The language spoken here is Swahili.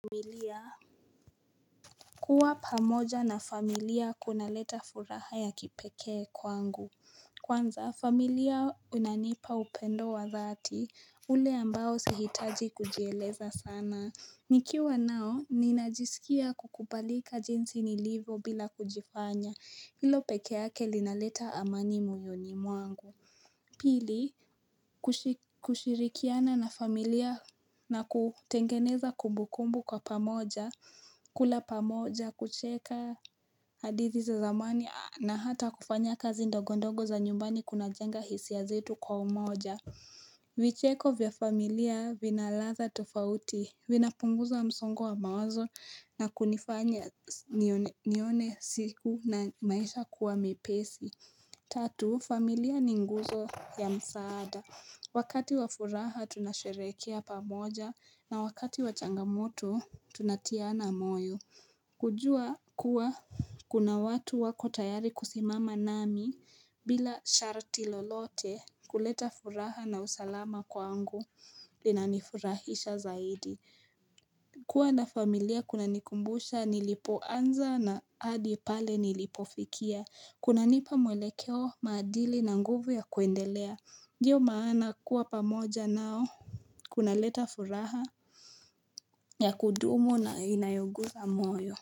Familia, kuwa pamoja na familia kunaleta furaha ya kipeke kwangu. Kwanza, familia unanipa upendo wa dhati, ule ambao sihitaji kujieleza sana. Nikiwa nao, ninajisikia kukubalika jinsi nilivyo bila kujifanya, hilo peke yake linaleta amani moyoni mwangu. Pili, kushirikiana na familia na kutengeneza kumbukumbu kwa pamoja, kula pamoja, kucheka hadithi za zamani na hata kufanya kazi ndogondogo za nyumbani kunajenga hisia zetu kwa umoja. Vicheko vya familia vinaladha tofauti, vinapunguza msongo wa mawazo na kunifanya nione siku na maisha kuwa mpesi. Tatu, familia ni nguzo ya msaada. Wakati wa furaha tunasherehekea pamoja na wakati wa changamoto tunatiana moyo. Kujua kuwa kuna watu wako tayari kusimama nami bila sharti lolote kuleta furaha na usalama kwangu linanifurahisha zaidi. Kwa na familia kunanikumbusha nilipoanza na hadi pale nilipofikia kunanipa mwelekeo, maadili na nguvu ya kuendelea ndiyo maana kuwa pamoja nao kunaleta furaha ya kudumu na inayoguza moyo.